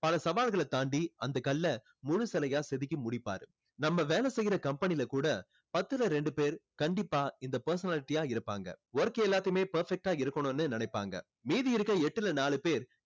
பல சவால்களை தான்டி அந்த கல்லை முழு சிலையா செதுக்கி முடிப்பாரு நம்ம வேலை செய்யுற company ல கூட பத்துல ரெண்டு பேர் கண்டிப்பா இந்த personality ஆ இருப்பாங்க work எல்லாத்தையுமே perfect ஆ இருக்கணும்னு நினைப்பாங்க மீதி இருக்குற எட்டுல நாலு பேர்